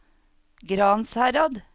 Gransherad